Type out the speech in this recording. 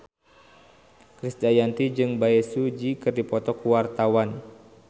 Krisdayanti jeung Bae Su Ji keur dipoto ku wartawan